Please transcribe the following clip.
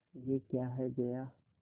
यह क्या है जया